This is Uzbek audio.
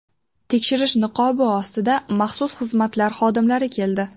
Tekshirish niqobi ostida maxsus xizmatlar xodimlari keldi.